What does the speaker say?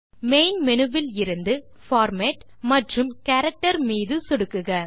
main menu விலிருந்து format மற்றும் character மீது சொடுக்குக